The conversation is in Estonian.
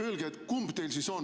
Öelge, kumb teil siis on ...